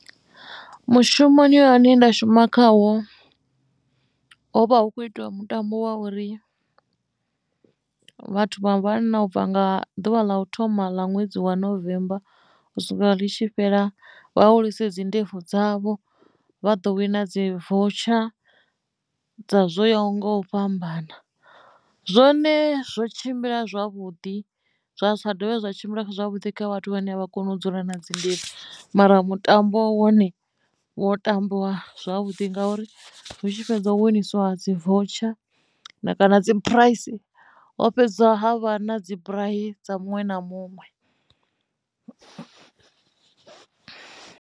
Mushumoni ane nda shuma khawo hovha hu kho itiwa mutambo wa uri vhathu vha vhanna ubva nga ḓuvha ḽa u thoma ḽa ṅwedzi wa November u swika i tshi fhela vha hulise dzi ndebvu dzavho vha ḓo wina dzi voutsha dza zwo yaho nga u fhambana zwone zwo tshimbila zwavhuḓi zwa sa dovhe zwa tshimbila zwavhuḓi kha vhathu vhane a vha koni u dzula na dzi ndebvu mara mutambo wone wo tambiwa zwavhuḓi ngauri hu tshi fhedza u winisiwa dzi voutsha na kana dzi phuraisi ho fhedziwa ha vha na dzi burei dza muṅwe na muṅwe.